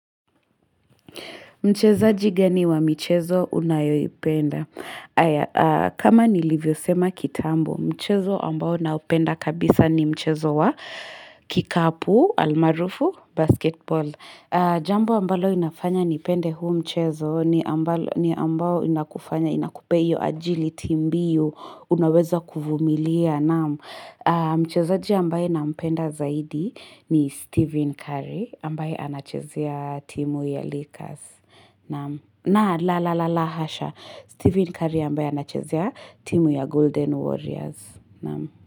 Mchezaji gani wa mchezo unayoipenda? Aya, kama nilivyosema kitambo, mchezo ambao na upenda kabisa ni mchezo wa kikapu, almarufu, basketball. Jambo ambao inafanya nipende huu mchezo, ni ambao inakufanya, inakupeyo agility mbiu, unaweza kuvumilia naam Mchezaji ambaye na upenda zaidi ni Stephen Curry, ambaye anachezea timu ya Lakers. Na, na, la, la,, hasha, Stephen Curry ambaya na chesea timu ya Golden Warriors, na, na.